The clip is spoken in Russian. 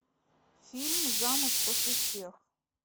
фильм замуж после всех